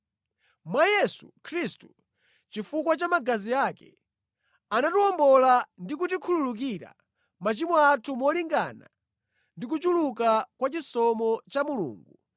Mwa Yesu Khristu, chifukwa cha magazi ake, ife tinawomboledwa ndi kukhululukidwa machimo athu molingana ndi kuchuluka kwa chisomo cha Mulungu